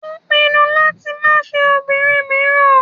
Ó pinu láti máa fẹ́ obìnrin míràn.